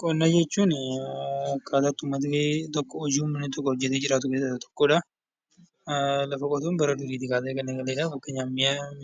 Qonna jechuun kan namni tokko hojjatee jiraatudha. Lafa qotuun bara durii kaasee kan eegaledha. Innis